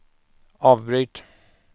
avbryt